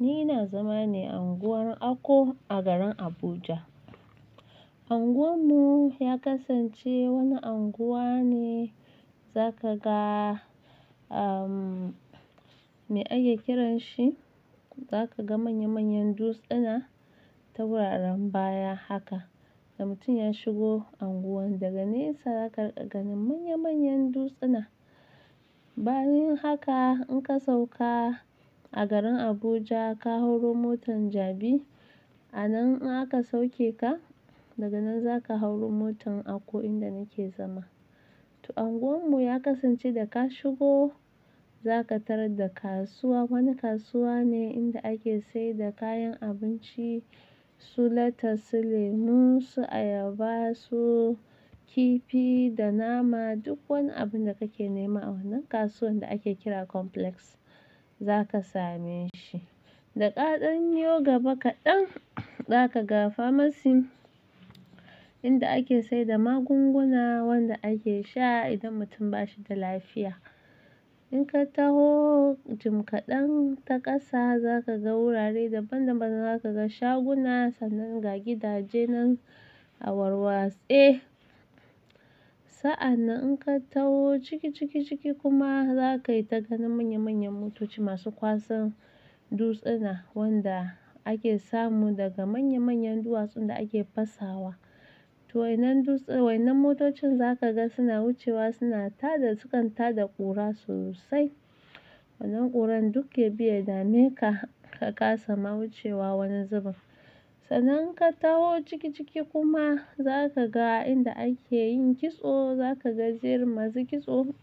Ni ina zama ne a unguwar Ako a garin Abuja. Unguwar mu ya kasance wani unguwa ne za ka ga, ahmm, me ake kiran shi? Za ka ga manya-manyan dutsuna ta wuraren baya haka. Da mutum ya shigo unguwar daga nesa, za ka ganin manya-manyan dutsuna. Bayan haka in ka sauka a garin Abuja, ka hauro motan jabi, a nan in aka sauke ka. Daga nan za ka hauro motan Ako inda nake zama. To unguwar mu ya kasance da ka shigo, za ka tarar da kasuwa. Wani kasuwa ne inda ake saida kayan abinci, su latas, su lemu, su ayaba, su kifi da nama. Duk wani abun da kake nema a wannan kasuwan da ake kira complex za ka same shi. Da kaɗan yo gaba kaɗan, za ka ga Pharmacy inda ake saida magunguna wanda ake sha idan mutum ba shi da lafiya. In ka taho jim kaɗan ta ƙasa, za ka ga wurare daban-daban, za ka ga shaguna, sannan ga gidaje nan a warwas. Eh, sa'anan in ka taho ciki, ciki, ciki kuma za ka yi ta ganin manya-manyan motoci masu kwasan dutsuna wanda ake samu daga manya-manyan duwatsun da ake fasawa. To wannan duts- wannan motocin za ka ga suna wucewa, suna tada, sukan tada ƙura sosai. Wannan ƙuran duk yabi ya dame ka, ka ƙasa ma wucewa wurin zaman. Sannan in ka taho ciki, ciki kuma za ka ga inda ake yin kitso, za ka ga jerin masu kitso